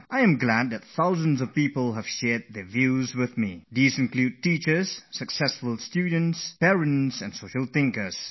It makes me immensely happy that teachers and students who have had successful careers, as also parents and social thinkers, have shared their experiences and suggestions with me